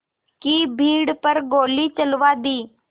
की भीड़ पर गोली चलवा दी